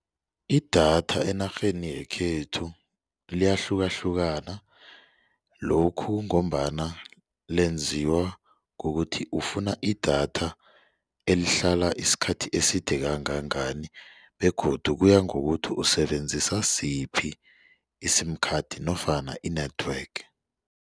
Idatha enarheni yekhethu liyahlukahlukana lokhu ngombana lenziwa kukuthi ufuna idatha elihlala isikhathi eside kangangani begodu kuya ngokuthi usebenzisa siphi i-sim card nofana i-network.